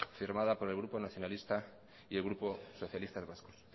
firmada por el grupo nacionalista y el grupo socialistas vascos